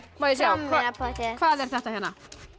má ég sjá hvað er þetta hérna